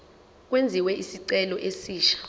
kwenziwe isicelo esisha